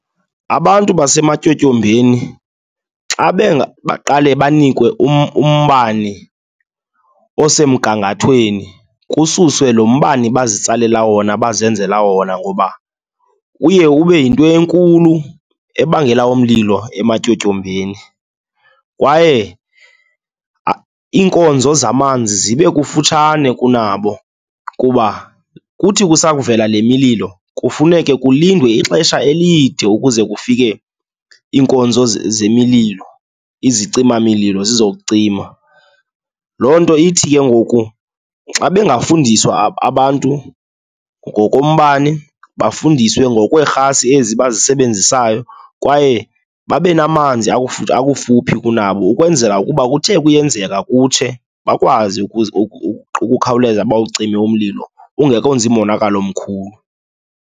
Abantu basematyotyombeni xa baqale banikwe umbane osemgangathweni kususwe lo mbane bazitsalela wona, bazenzela wona ngoba uye ube yinto enkulu ebangela umlilo ematyotyombeni. Kwaye iinkonzo zamanzi zibe kufutshane kunabo kuba kuthi kusakuvela le mililo, kufuneke kulindwe ixesha elide ukuze kufike iinkonzo zemililo, izicimamlilo zizokucima. Loo nto ithi ke ngoku xa bangafundiswa abantu ngoko mbane, bafundiswe ngokweerhasi ezi abazisebenzisayo kwaye babe namanzi akufuphi kunabo ukwenzela ukuba kuthe kuyenzeka kutshe, bakwazi ukukhawuleza bawucime umlilo, ungekenzi monakalo umkhulu.